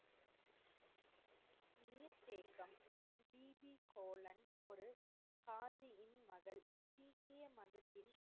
காதி கோலன் ஒரு காதி உன் மடல் சீக்கிய மதத்தின்,